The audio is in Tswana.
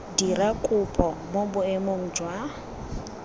dira kopo mo boemong jwa